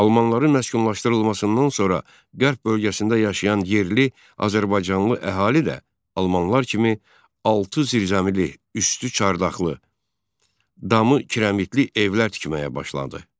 Almanların məskunlaşdırılmasından sonra qərb bölgəsində yaşayan yerli azərbaycanlı əhali də almanlar kimi altı zirzəmili, üstü çardaqlı, damı kirəmitli evlər tikməyə başladı.